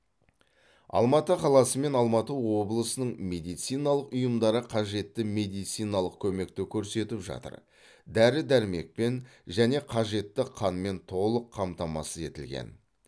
алматы қаласы мен алматы облысының медициналық ұйымдары қажетті медициналық көмекті көрсетіп жатыр дәрі дәрмекпен және қажетті қанмен толық қамтамасыз етілген